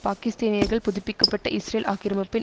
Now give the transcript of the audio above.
பாகிஸ்தீனியர்கள் புதுப்பிக்க பட்ட இஸ்ரேல் ஆக்கிரமிப்பின்